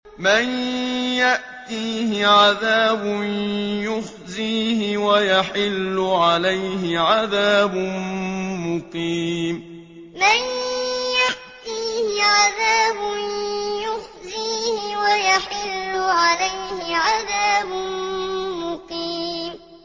مَن يَأْتِيهِ عَذَابٌ يُخْزِيهِ وَيَحِلُّ عَلَيْهِ عَذَابٌ مُّقِيمٌ مَن يَأْتِيهِ عَذَابٌ يُخْزِيهِ وَيَحِلُّ عَلَيْهِ عَذَابٌ مُّقِيمٌ